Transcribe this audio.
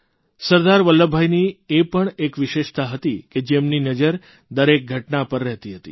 સરદાર વલ્લભભાઇની એ પણ એક વિશેષતા હતી કે જેમની નજર દરેક ઘટના પર રહેતી હતી